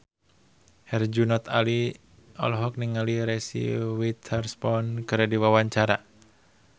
Herjunot Ali olohok ningali Reese Witherspoon keur diwawancara